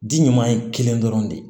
Di ɲuman ye kelen dɔrɔn de ye